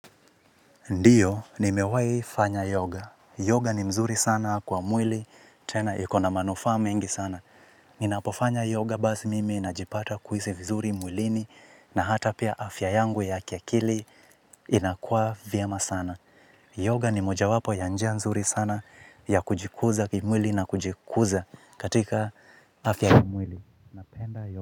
Ndio, nimewai fanya yoga. Yoga ni mzuri sana kwa mwili, tena ikona manufaa mingi sana. Ninapofanya yoga basi mimi najipata kuhisi vizuri mwilini na hata pia afya yangu ya kia kili inakua vyema sana. Yoga ni moja wapo ya njia nzuri sana ya kujikuza kwa mwili na kujikuza katika afya kwa mwili.